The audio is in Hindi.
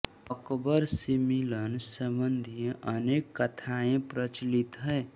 अकबर से मिलन संबंधी अनेक कथाएं प्रचलित है